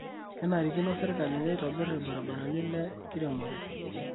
Kenarikino serkali neitobir ibaribarani le nkiremore